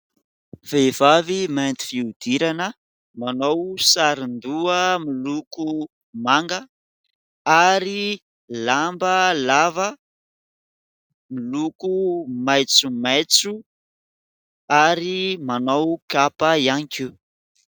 Vehivavy mainty fihodirana, manao saron-doha miloko manga, ary lamba lava miloko maitsomaitso ary manao kapa ihany koa.